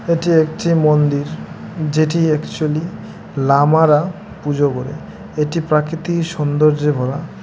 এটি একটি মন্দির যেটি অ্যাকচুয়ালি লামারা পুজো করে এটি প্রাকৃতিক সৌন্দর্যে ভরা।